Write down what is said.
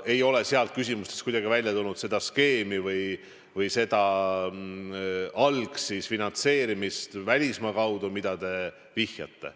sealt ei ole kuidagi välja tulnud mingit skeemi või algfinantseerimist välismaa kaudu, millele te vihjate.